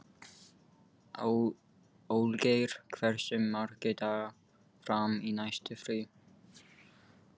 Olgeir, hversu margir dagar fram að næsta fríi?